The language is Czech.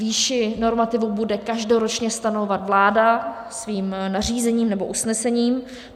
Výši normativu bude každoročně stanovovat vláda svým nařízením nebo usnesením.